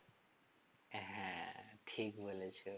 হ্যাঁ ঠিক বলেছো